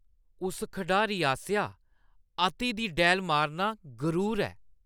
उस खढारी आसेआ अति दी डैह्‌ल मारना गरूर ऐ ।